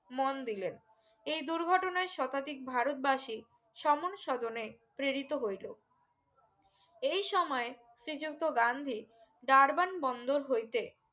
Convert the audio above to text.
মন দিলেন এই দুর্ঘটনায় শতাধিক ভারত বাসী সমন শোদনে প্রেরিত হইলো এই সময় শ্রীযুক্ত গান্ধী ডারবান বন্দর হইতে